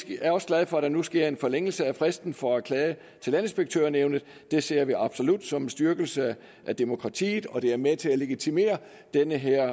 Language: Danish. vi er også glade for at der nu sker en forlængelse af fristen for at klage til landinspektørnævnet det ser vi absolut som en styrkelse af demokratiet og det er med til at legitimere den her